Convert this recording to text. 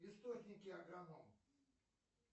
источники агроном